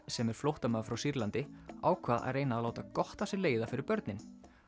sem er flóttamaður frá Sýrlandi ákvað að reyna að láta gott af sér leiða fyrir börnin